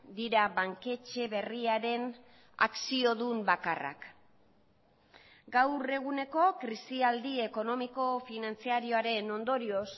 dira banketxe berriaren akziodun bakarrak gaur eguneko krisialdi ekonomiko finantzarioaren ondorioz